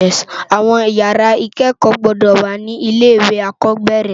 Awòn ìyàrá ikèékò gbòdò wá ni ilé iwé ákòbèrè